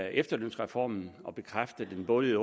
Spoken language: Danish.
efterlønsreformen og bekræfte den både i